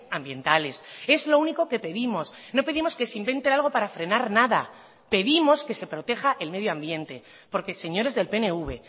ambientales es lo único que pedimos no pedimos que se invente algo para frenar nada pedimos que se proteja el medio ambiente porque señores del pnv